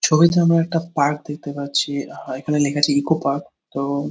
ছবিতে আমরা একটা পার্ক দেখতে পাচ্ছি আর এখানে লেখা আছে ইকো পার্ক তো --